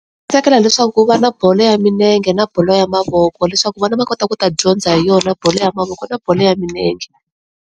Tsakela leswaku ku va na bolo ya milenge na bolo ya mavoko leswaku vana va kota ku ta dyondza hi yona bolo ya mavoko na bolo ya milenge.